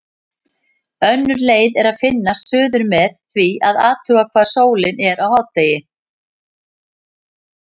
Önnur leið er að finna suður með því að athuga hvar sólin er á hádegi.